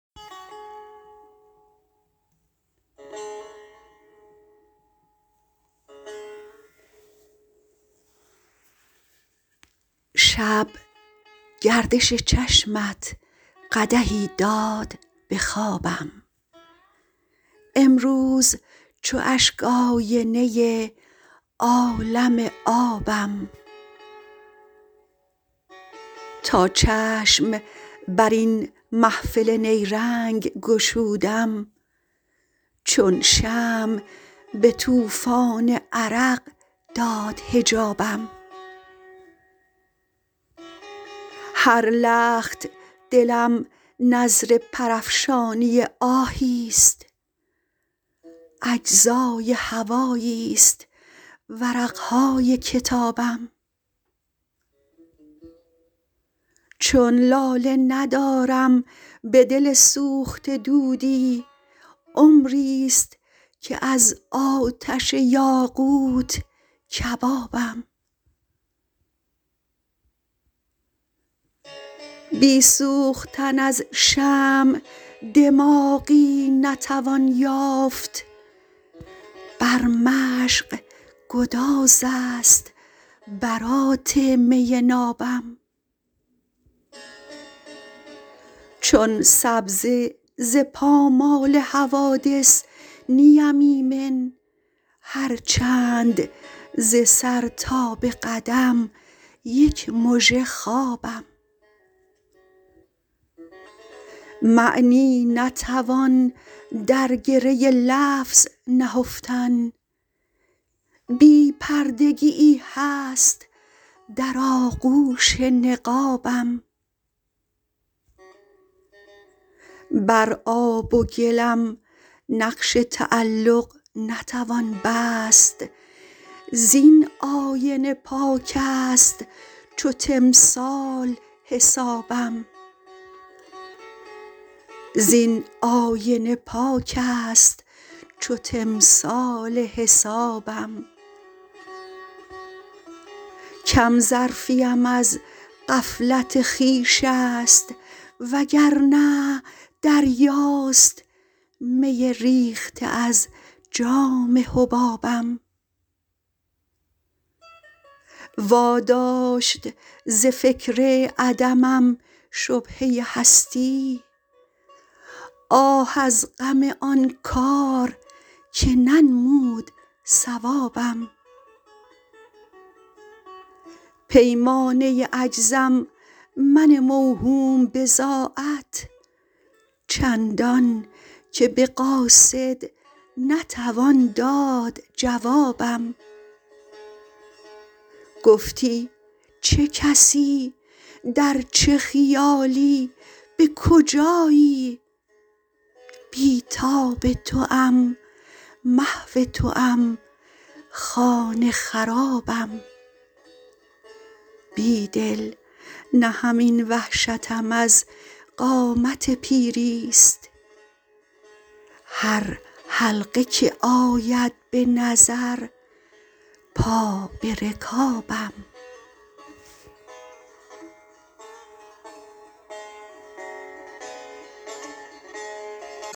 شب گردش چشمت قدحی داد به خوابم امروز چو اشک آینه عالم آبم تا چشم بر این محفل نیرنگ گشودم چون شمع به توفان عرق داد حجابم هر لخت دلم نذر پر افشانی آهی است اجزای هوایی ست ورق های کتابم چون لاله ندارم به دل سوخته دودی عمری ست که از آتش یاقوت کبابم بی سوختن از شمع دماغی نتوان یافت بر مشق گدازست برات می نابم چون سبزه ز پامال حوادث نی ام ایمن هر چند ز سر تا به قدم یک مژه خوابم معنی نتوان درگره لفظ نهفتن بی پردگیی هست در آغوش نقابم بر آب و گلم نقش تعلق نتوان بست زین آینه پاک است چو تمثال حسابم کم ظرفی ام از غفلت خویش است وگرنه دریاست می ریخته از جام حبابم واداشت ز فکر عدمم شبهه هستی آه از غم آن کار که ننمود صوابم پیمانه عجزم من موهوم بضاعت چندان که به قاصد نتوان داد جوابم گفتی چه کسی در چه خیالی به کجایی بی تاب توام محو توام خانه خرابم بیدل نه همین وحشتم از قامت پیری ست هر حلقه که آید به نظر پا به رکابم